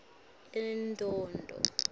endondo